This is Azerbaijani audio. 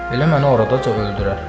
Elə məni oradaca öldürər.